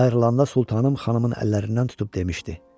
Ayrılanda sultanım xanımın əllərindən tutub demişdi: